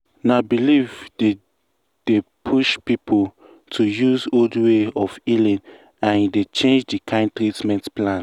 na belief dey dey push people to use old way of healing and e dey change the kind treatment plan.